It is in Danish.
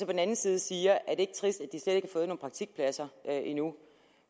den anden side siger er det ikke trist at de slet ikke praktikpladser endnu